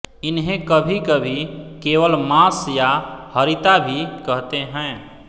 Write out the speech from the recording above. इन्हें कभी कभी केवल मॉस या हरिता भी कहते हैं